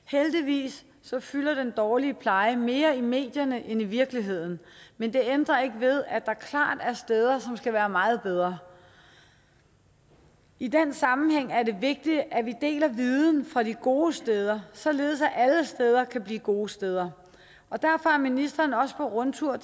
heldigvis fylder den dårlige pleje mere i medierne end i virkeligheden men det ændrer ikke ved at der klart er steder som skal være meget bedre i den sammenhæng er det vigtigt at vi deler viden fra de gode steder således at alle steder kan blive gode steder derfor er ministeren også på rundtur